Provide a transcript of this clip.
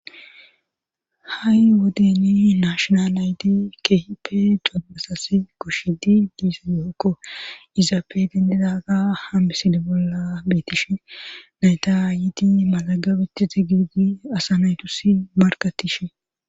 ha7i wodeni naashonal nayti kehipe durmasasi goshidi diisadeokko izaape dennidaga hameside bolla betishe nayta ayiti malagabeti zi gidi asa naytus markattishe